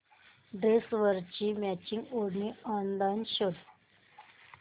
ड्रेसवरची मॅचिंग ओढणी ऑनलाइन शोध